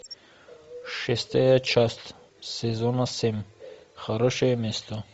шестая часть сезона семь хорошее место